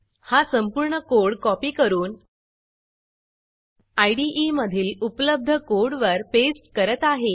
हा संपूर्ण code copy करून इदे मधील उपलब्ध कोडवर पेस्ट करत आहे